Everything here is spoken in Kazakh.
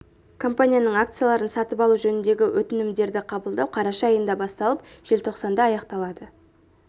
компанияның акцияларын сатып алу жөніндегі өтінімдерді қабылдау қараша айында басталып желтоқсанда аяқталады